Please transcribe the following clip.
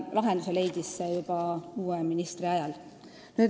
Lahendus leiti juba uue ministri ajal.